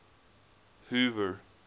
hoover